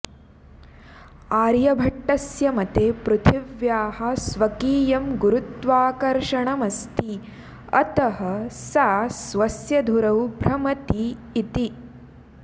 आर्यभट्टस्य मते पृथिव्याः स्वकीयं गुरुत्वाकर्शणमस्ति अतः सा स्वस्य धुरौ भ्रमति इति